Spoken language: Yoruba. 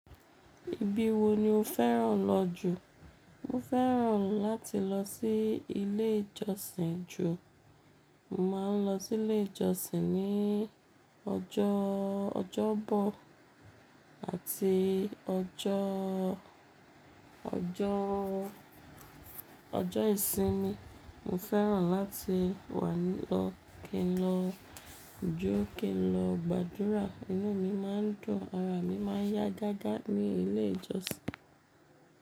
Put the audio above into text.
Ibi wo ni o fẹ́ràn lọ jù? Mo fẹ́ràn láti lọ sí ilé ìjọsìn ju. Mo máa ń lọ sí ilé ìjọsìn ní ọjọ́ ọjọ́bọ àti ọjọ́, ọjọ́, ọjọ́ ìsinmi. Mo fẹ́ràn láti wà ní lọ kí n lọ jó, kí n lọ gbàdúrà. Inú mi máa ń dùn, ara mi máa ń yá gágá ní ilé ìjọsìn.